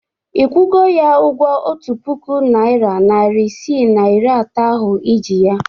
Ị kwụgo ya ụgwọ otu puku naịra, narị isii na iri atọ ahụ ị ji ya?